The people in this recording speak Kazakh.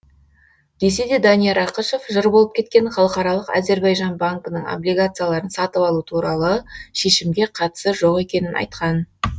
десе де данияр ақышев жыр болып кеткен халықаралық әзірбайжан банкінің облигацияларын сатып алу туралы шешімге қатысы жоқ екенін айтқан